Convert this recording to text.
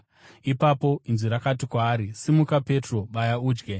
Ipapo inzwi rakati kwaari, “Simuka, Petro. Baya udye.”